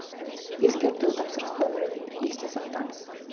ескерту тапсырыс номерін есте сақтаңыз